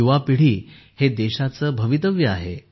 युवा पिढी हे देशाचे भवितव्य आहे